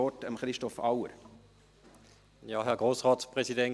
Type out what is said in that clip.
Dann gebe ich Christoph Auer das Wort.